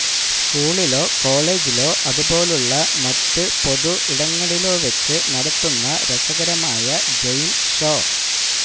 സ്കൂളിലോ കോളേജിലോ അതുപോലുള്ള മറ്റ് പൊതു ഇടങ്ങളിലോ വെച്ച് നടത്തുന്ന രസകരമായ ഗെയിം ഷോ